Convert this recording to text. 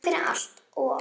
Takk fyrir allt og okkur.